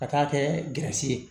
Ka taa kɛ gasi ye